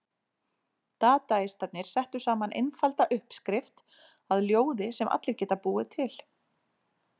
Dadaistarnir settu saman einfalda uppskrift að ljóði sem allir geta búið til.